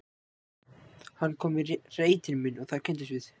Hann kom í reitinn minn og þar kynntumst við.